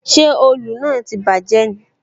Ṣé òòlù náà tí bàjé ni?